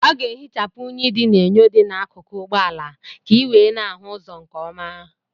Ọ ga-ehichapụ unyi dị n'enyo dị n'akụkụ ụgbọala ka ị wee na-ahụ ụzọ nke ọma.